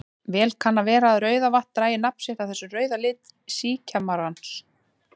Vel kann að vera að Rauðavatn dragi nafn sitt af þessum rauða lit síkjamarans.